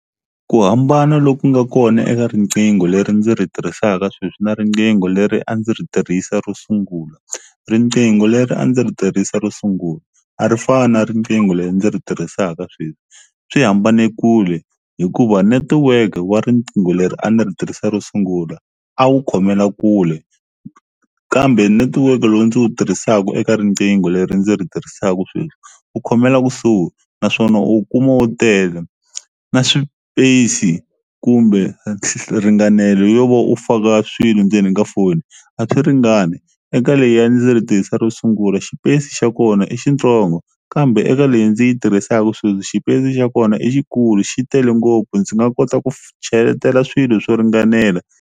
Ku hambana loku nga kona eka riqingho leri ndzi ri tirhisaka sweswi na riqingho leri a ndzi ri tirhisa ro sungula riqingho leri a ndzi ri tirhisa ro sungula a ri fani na riqingho leri ndzi ri tirhisaka sweswi swi hambane kule hikuva netiweke wa riqingho leri a ni ri tirhisa ro sungula a wu khomela kule kambe netiweke lowu ndzi wu tirhisaku eka riqingho leri ndzi ri tirhisaku sweswi wu khomela kusuhi naswona u wu kuma wu tele na swipesi kumbe ringanelo yo va u faka swilo ndzeni ka foni a swi ringani eka leyi a ndzi ri tirhisa ro sungula xipesi xa kona i xitsongo kambe eka leyi ndzi yi tirhisaka sweswi xipesi xa kona i xikulu xi tele ngopfu ndzi nga kota ku cheletela swilo swo ringanela.